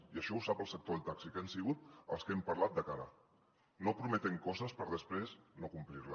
i això ho sap el sector del taxi que han sigut amb qui hem parlat de cara no prometent coses per després no complir les